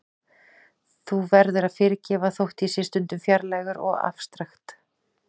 Þú verður að fyrirgefa þótt ég sé stundum fjarlægur og afstrakt.